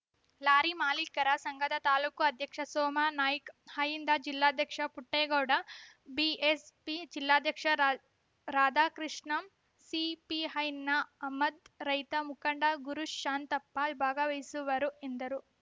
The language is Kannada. ಲಾರಿ ಮಾಲೀಕರ ಸಂಘದ ತಾಲೂಕು ಅಧ್ಯಕ್ಷ ಸೋಮಾ ನಾಯ್ಕ ಅಹಿಂದ ಜಿಲ್ಲಾಧ್ಯಕ್ಷ ಪುಟ್ಟೇಗೌಡ ಬಿಎಸ್‌ಪಿ ಜಿಲ್ಲಾಧ್ಯಕ್ಷ ರಾಧಾಕೃಷ್ಣ ಸಿಪಿಐನ ಅಮ್ಜದ್‌ ರೈತ ಮುಖಂಡ ಗುರುಶಾಂತಪ್ಪ ಭಾಗವಹಿಸುವರು ಎಂದರು